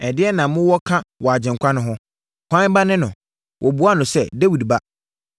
“Ɛdeɛn na mowɔ ka wɔ Agyenkwa no ho? Hwan ba ne no?” Wɔbuaa no sɛ, “Dawid Ba.”